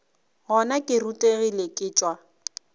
gona ke rutegile ke tšwa